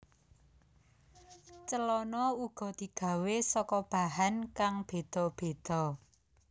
Celana uga digawé saka bahan kang béda béda